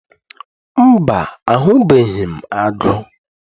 Mba, ahụbeghị m agụ